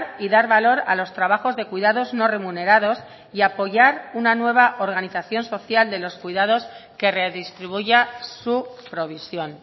y dar valor a los trabajos de cuidados no remunerados y apoyar una nueva organización social de los cuidados que redistribuya su provisión